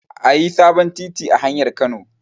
Ayi sabon titi a hanyar nan